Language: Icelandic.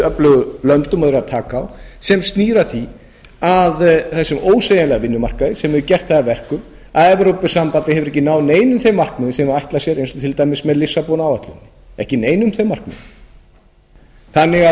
öflugustu lönd eru að taka á sem snýr að því að þessum ósveigjanlega vinnumarkaði sem hefur gert það verkum að evrópusambandið hefur ekki náð neinum þeim markmiðum sem það ætlar sér eins og til dæmis með lissabon áætlun ekki neinum þeim markmiðum ég